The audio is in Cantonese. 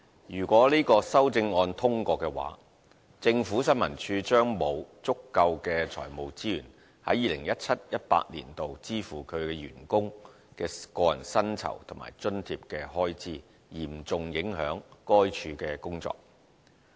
如果這項修正案獲得通過，政府新聞處將會沒有足夠的財務資源在 2017-2018 年度支付其員工的個人薪酬和津貼的開支，嚴重影響該處的工作。